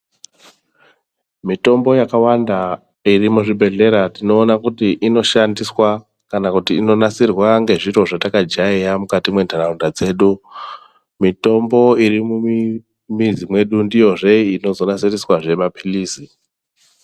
Mitombo yakawanda iri muzvibhedhlera ,tinoona kuti inoshandiswa, kana kuti inonasirwa ngezviro zvatakajayeya mukati mwentaraunda dzedu. Mitombo iri mumi mizi mwedu ndiyozve inozonasiriswazve maphilizi.